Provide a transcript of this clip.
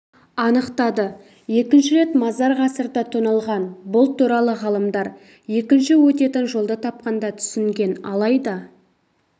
анықтады екінші рет мазар ғасырда тоналған бұл туралы ғалымдар екінші өтетін жолды тапқанда түсінген алайда